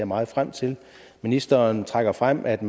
meget frem til ministeren trækker frem at